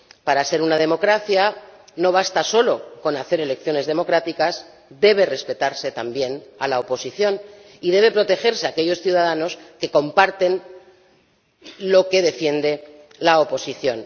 Para ser una democracia no basta solo con celebrar elecciones democráticas, debe respetarse también a la oposición y debe protegerse a aquellos ciudadanos que comparten lo que defiende la oposición.